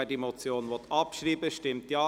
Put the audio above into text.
Wer diese Motion abschreiben will, stimmt Ja,